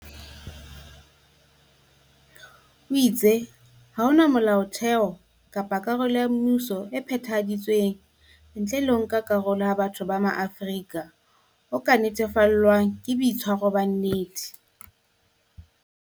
O itse ha hona Molaotheo kapa karolo ya mmuso e phethahaditsweng ntle le ho nka karolo ha batho ba Maafrika o ka netefallwang ke boitshwaro ba nnete.